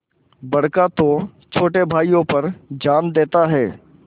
बड़का तो छोटे भाइयों पर जान देता हैं